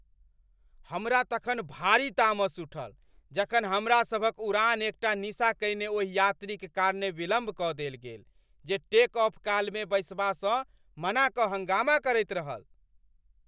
हमरा तखन भारी तामस उठल जखन हमरासभक उड़ान एकटा निसा कयने ओहि यात्रीक कारणे विलम्ब कऽ देल गेल जे टेक ऑफ कालमे बैसबासँ मना कऽ हंगामा करैत रहल।